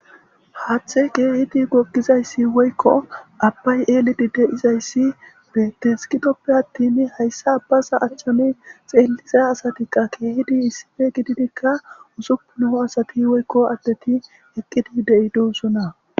Haathey keehippe goggizayssine abbay eelli dizays beetees. Gidoppe attin hayssa abaza achchan xeelliza asatika keehidi issipe gididika usuppun asati eqqidi de'idoosona.